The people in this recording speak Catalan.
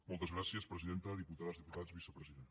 moltes gràcies presidenta diputades diputats vicepresident